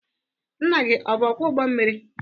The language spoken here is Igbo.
Nna gi ọ bụ ọkwọ ụgbọ mmiri?